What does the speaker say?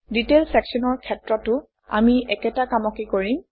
detail চেকশ্যনৰ ক্ষেত্ৰতো আমি একেটা কামকে কৰিম